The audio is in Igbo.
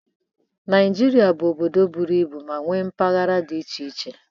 Naịjirịa bụ obodo buru ibu ma nwee mpaghara dị iche iche.